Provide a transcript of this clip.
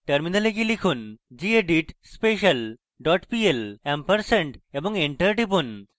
terminal go লিখুন: gedit special dot pl ampersand এবং enter টিপুন